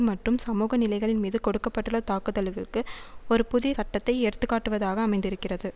மற்றும் சமூக நிலைகள்மீது தொடுக்க பட்டுள்ள தாக்குதல்களுக்கு ஒரு புதிய சட்டத்தை எடுத்து காட்டுவதாக அமைந்திருக்கிறது